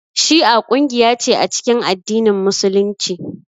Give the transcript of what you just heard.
Shi'a kungiya ce a cikin addinin musulunci